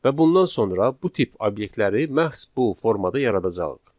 Və bundan sonra bu tip obyektləri məhz bu formada yaradacağıq.